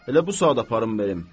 elə bu saat aparım verim.